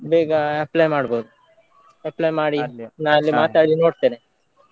ಬೇಗ apply ಮಾಡ್ಬೋದು. Apply ಮಾಡಿ ನಾ ಅಲ್ಲಿ ಮಾತಾಡಿ ನೋಡ್ತೇನೆ.